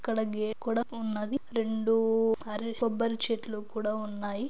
ఇక్కడ గే కూడా ఉన్నది రెండూ అర కొబ్బరి చెట్లు కూడా ఉన్నాయి.